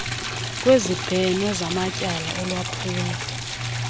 kwezibheno zamatyala olwaphulo